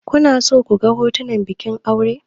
Kuna so ku ga hotunan bikin aure?